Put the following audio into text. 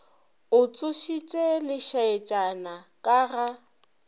o tsošitše lešaetšana ka ga